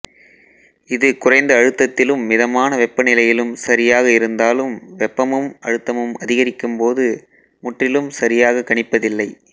இது குறைந்த அழுத்தத்திலும் மிதமான வெப்பநிலையிலும் சரியாக இருந்தாலும் வெப்பமும் அழுத்தமும் அதிகரிக்கும்போது முற்றிலும் சரியாகக் கணிப்பதில்லை